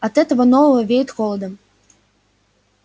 от этого нового веет холодом